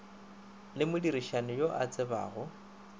le modirišani yo a tsebjago